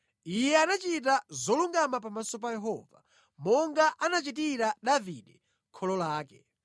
Iye anachita zolungama pamaso pa Yehova monga anachitira Davide kholo lake.